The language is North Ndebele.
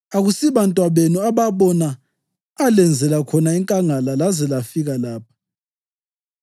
Akusibantwabenu ababona alenzela khona enkangala laze lazafika lapha,